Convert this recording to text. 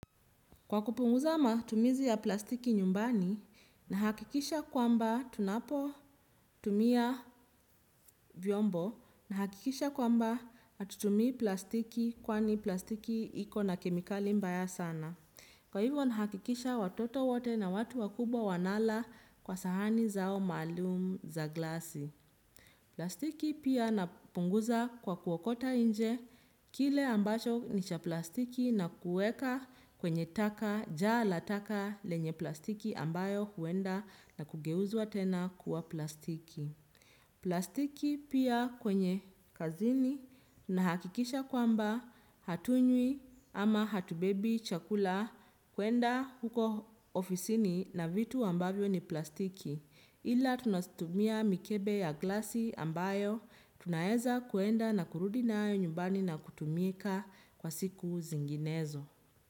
Kwa kupunguza matumizi ya plastiki nyumbani, nahakikisha kwamba tunapo tumia vyombo, nahakikisha kwamba hatutumii plastiki kwani plastiki ikona kemikali mbaya sana. Kwa hivyo nahakikisha watoto wote na watu wakubwa wanala kwa sahani zao maalum za glasi. Plastiki pia napunguza kwa kuwakota nje kile ambacho nicha plastiki na kueka kwenye taka jala taka lenye plastiki ambayo huenda na kugeuzua tena kuwa plastiki. Plastiki pia kwenye kazini tunahakikisha kwamba hatunywi ama hatubebi chakula kuenda huko ofisini na vitu ambayo ni plastiki ila tunatumia mikebe ya glasi ambayo tunaweza kuenda na kurudi nayo nyumbani na kutumika kwa siku zinginezo.